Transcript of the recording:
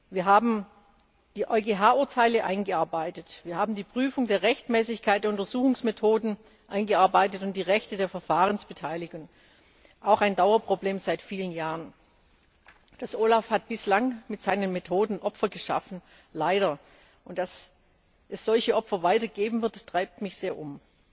Wir haben die EuGH Urteile eingearbeitet, wir haben die Prüfung der Rechtmäßigkeit der Untersuchungsmethoden eingearbeitet und die Rechte der Verfahrensbeteiligten auch ein Dauerproblem seit vielen Jahren. Das OLAF hat bislang mit seinen Methoden Opfer geschaffen leider und dass es solche Opfer weiter geben wird, treibt mich sehr um.